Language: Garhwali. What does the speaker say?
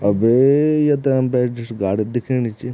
अबे य त अम्बेसिडर सी गाडी दिखेणी च।